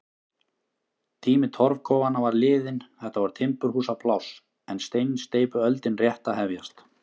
Tími torfkofanna var liðinn, þetta var timburhúsapláss en steinsteypuöldin rétt að hefjast.